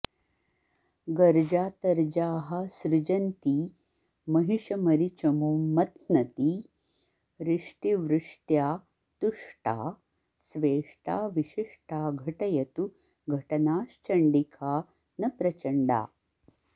गर्जातर्जाः सृजन्ती महिषमरिचमूं मथ्नती रिष्टिवृष्ट्या तुष्टा स्वेष्टा विशिष्टा घटयतु घटनाश्चण्डिका नः प्रचण्डा